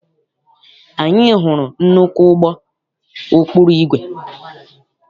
Anyị hụrụ nnukwu ụgbọ ụkpụrụ igwe.